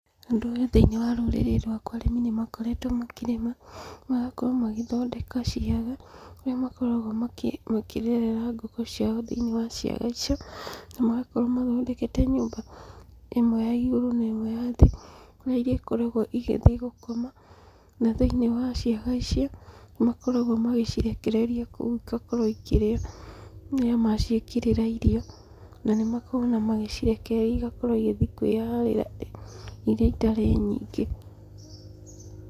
Ũndũ ũyũ thĩinĩ wa rũrĩrĩ rwakwa arĩmi nĩmakoretwo makĩrĩma, magakorwo magĩthondeka ciaga, kũrĩa makoragwo makĩrerera ngũkũ ciao thĩinĩ wa ciaga icio, na magakorwo mathondekete nyũmba ĩmwe ya igũrũ na ĩmwe ya thĩ, kũrĩ iria ikoragwo igĩthiĩ gũkoma na thĩinĩ wa ciaga icio, nĩ makoragwo magĩcirekereria kũu igakorwo ikĩrĩa rĩrĩa maciĩkĩrĩra irio, na nĩ makoragwo ona magĩcirekereria igakorwo igĩthiĩ kwĩharĩra iria itarĩ nyingĩ.